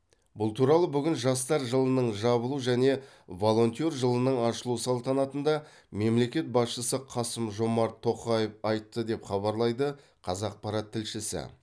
бұл туралы бүгін жастар жылының жабылу және волонтер жылының ашылу салтанатында мемлекет басшысы қасым жомарт тоқаев айтты деп хабарлайды қазақпарат тілшісі